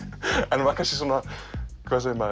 en var kannski svona hvað segir maður